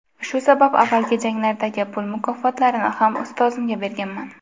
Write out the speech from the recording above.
Shu sabab avvalgi janglardagi pul mukofotlarini ham ustozimga berganman.